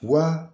Wa